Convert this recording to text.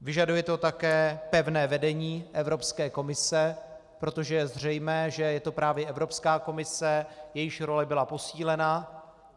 Vyžaduje to také pevné vedení Evropské komise, protože je zřejmé, že je to právě Evropská komise, jejíž role byla posílena.